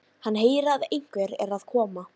Hann heyrir að einhver er að koma.